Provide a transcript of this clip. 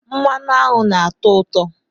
Mmanụ aṅụ nna-atọ ụtọ